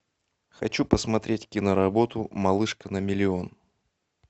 хочу посмотреть киноработу малышка на миллион